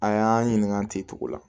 A y'an ɲininka tenttu la